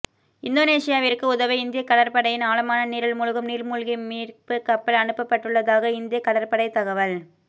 இந்தோனேசியாவிற்கு உதவ இந்திய கடற்படையின் ஆழமான நீரில் மூழ்கும் நீர்மூழ்கி மீட்பு கப்பல் அனுப்பப்பட்டுள்ளதாக இந்திய கடற்படை தகவல்